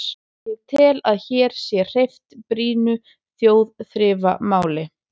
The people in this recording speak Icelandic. Ég tel, að hér sé hreyft brýnu þjóðþrifamáli.